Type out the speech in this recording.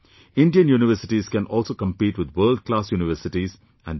Indian universities can also compete with world class universities, and they should